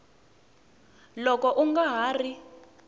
loko u nga ha ri